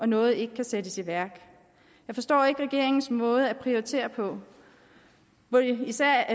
noget ikke kan sættes i værk jeg forstår ikke regeringens måde at prioritere på burde især